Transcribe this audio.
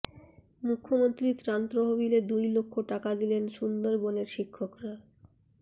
মুখ্যমন্ত্রীর ত্রাণ তহবিলে দুই লক্ষ টাকা দিলেন সুন্দরবনের শিক্ষকরা